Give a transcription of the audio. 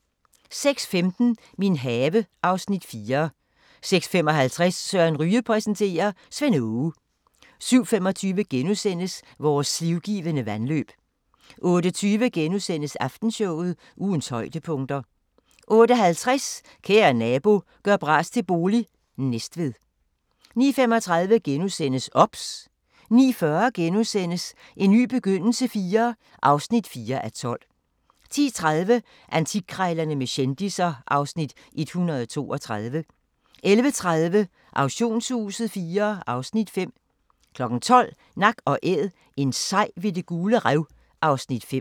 06:15: Min have (Afs. 4) 06:55: Søren Ryge præsenterer: Svend Aage 07:25: Vores livgivende vandløb * 08:20: Aftenshowet – ugens højdepunkter * 08:50: Kære nabo – gør bras til bolig – Næstved 09:35: OBS * 09:40: En ny begyndelse IV (4:12)* 10:30: Antikkrejlerne med kendisser (Afs. 132) 11:30: Auktionshuset IV (Afs. 5) 12:00: Nak & Æd – en sej ved Det Gule Rev (Afs. 5)